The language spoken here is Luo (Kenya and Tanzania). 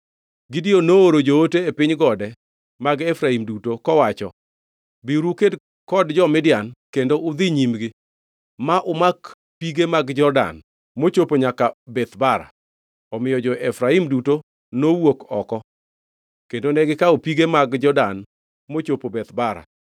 Gideon nooro joote e piny gode mag Efraim duto, kowacho, “Biuru uked kod jo-Midian kendo udhi nyimgi ma umak pige mag Jordan mochopo nyaka Beth Bara.” Omiyo jo-Efraim duto nowuok oko kendo negikawo pige mag Jordan mochopo Beth Bara.